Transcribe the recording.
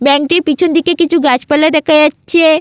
Bank -টির পিছন দিয়ে কিছু গাছপালা দেখা যাচ্ছে।